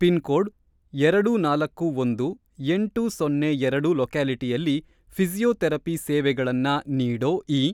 Pin code ಎರಡು ನಾಲ್ಕು ಒಂದು ಎಂಟು ಸೊನ್ನೆ ಎರಡು ಲೊಕ್ಯಾಲಿಟಿಯಲ್ಲಿ ಫಿ಼ಸಿಯೋಥೆರಪಿ ಸೇವೆಗಳನ್ನ ನೀಡೋ ಇ.